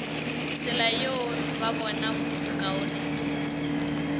tsela yeo ba bona bokaone